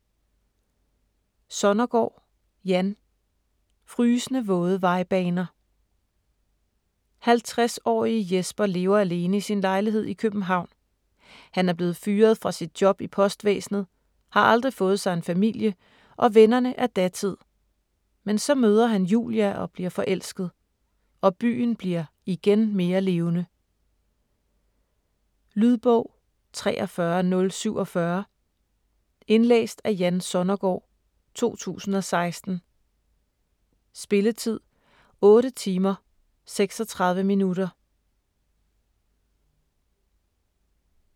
Sonnergaard, Jan: Frysende våde vejbaner 50-årige Jesper lever alene i sin lejlighed i København. Han er blevet fyret fra sit job i postvæsenet, har aldrig fået sig en familie, og vennerne er datid. Men så møder han Julia og bliver forelsket. Og byen bliver (igen) mere levende. Lydbog 43047 Indlæst af Jan Sonnergaard, 2016. Spilletid: 8 timer, 36 minutter.